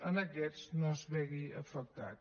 en aquests no es vegi afectat